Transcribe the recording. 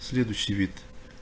следующий вид